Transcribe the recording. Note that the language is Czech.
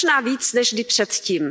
Možná více než kdy předtím.